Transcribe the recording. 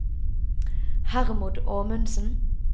Hermod Amundsen